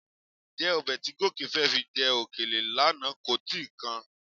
Ǹjẹ́ ọbẹ̀ tí Gòkè fẹ́ fi jẹ òkèlè lánàá kò ti kan?